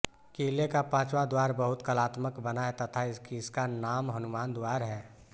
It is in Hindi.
किले का पाचवाँ द्वार बहुत कलात्मक बना है तथा इसका नाम हनुमान द्वार है